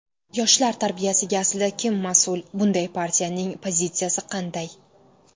Yoshlar tarbiyasiga aslida kim mas’ul, bunda partiyaning pozitsiyasi qanday?